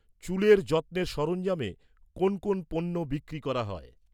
চুলের যত্নের সরঞ্জামে কোন কোন পণ্য বিক্রি করা হয়?